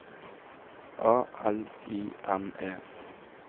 A L I N E